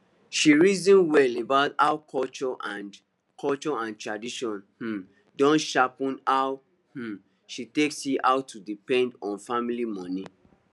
she reason well about how culture and culture and tradition um don shape how um she take see how to depend on family money